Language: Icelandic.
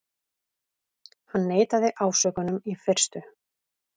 Hann neitaði ásökunum í fyrstu